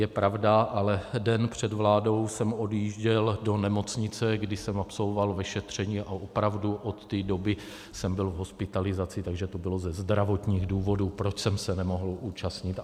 Je pravda, ale den před vládou jsem odjížděl do nemocnice, kde jsem absolvoval vyšetření, a opravdu od té doby jsem byl v hospitalizaci, takže to bylo ze zdravotních důvodů, proč jsem se nemohl účastnit.